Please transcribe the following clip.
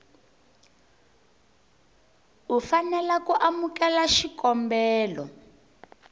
u fanela ku amukela xikombelo